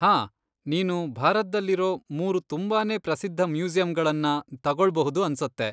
ಹಾ! ನೀನು ಭಾರತ್ದಲ್ಲಿರೋ ಮೂರು ತುಂಬಾನೇ ಪ್ರಸಿದ್ಧ ಮ್ಯೂಸಿಯಂಗಳನ್ನ ತಗೊಳ್ಬಹುದು ಅನ್ಸುತ್ತೆ.